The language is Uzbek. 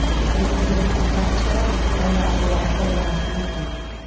Eng muhimi, bitta kartochkadan butun oila a’zolari foydalanishi mumkin.